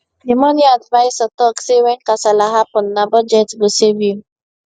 the money adviser talk say when kasala happen na budget go save you